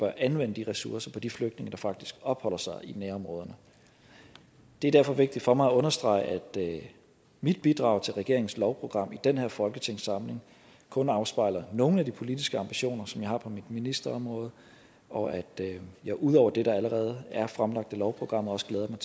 anvende de ressourcer på de flygtninge der faktisk opholder sig i nærområderne det er derfor vigtigt for mig at understrege at mit bidrag til regeringens lovprogram i den her folketingssamling kun afspejler nogle af de politiske ambitioner som jeg har på mit ministerområde og at at jeg ud over det der allerede er fremlagt i lovprogrammet også glæder mig